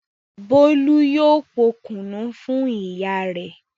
Bólú yóò po kùnú fún ìyá rẹ̀.